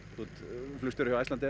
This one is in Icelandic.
þú ert flugstjóri hjá Icelandair